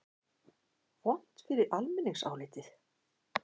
Vont fyrir almenningsálitið?